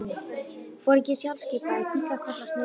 Foringinn sjálfskipaði kinkaði kolli og sneri við.